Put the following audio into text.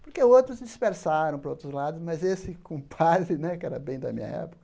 Porque outros dispersaram para outros lados, mas esse compadre né, que era bem da minha época,